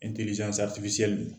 don